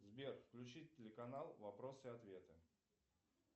сбер включи телеканал вопросы и ответы